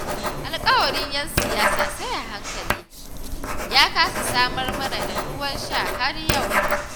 Alƙawarin 'yan siyasa sai a hankali, ya kasa samar mana da ruwan sha har yau